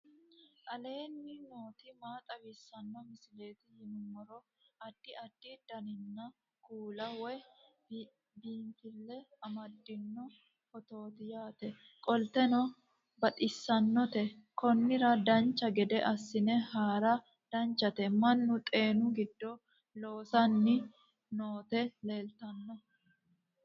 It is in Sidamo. aleenni nooti maa xawisanno misileeti yinummoro addi addi dananna kuula woy biinsille amaddino footooti yaate qoltenno baxissannote konnira dancha gede assine haara danchate mannu xeenu giddo loosanni nooti leeltanno